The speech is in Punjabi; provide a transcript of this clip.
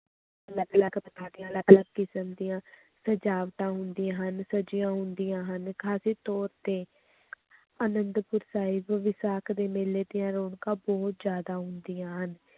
ਅਲੱਗ ਅਲੱਗ ਅਲੱਗ ਅਲੱਗ ਕਿਸਮ ਦੀਆਂ ਸਜਾਵਟਾਂ ਹੁੰਦੀਆਂ ਹਨ, ਸਜੀਆਂ ਹੁੰਦੀਆਂ ਹਨ, ਖ਼ਾਸ ਤੌਰ ਤੇ ਆਨੰਦਪੁਰ ਸਾਹਿਬ ਵਿਸਾਖ ਦੇ ਮੇਲੇ ਦੀਆਂ ਰੌਣਕਾਂ ਬਹੁਤ ਜ਼ਿਆਦਾ ਹੁੰਦੀਆਂ ਹਨ,